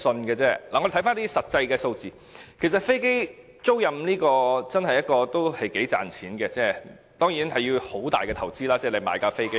我們看回一些實際數字，其實飛機租賃業是一個頗賺錢的行業，當然，買一架飛機需要很大的投資。